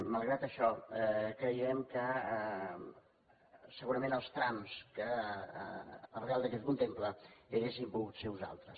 malgrat això creiem que segurament els trams que el reial decret contempla haurien pogut ser uns altres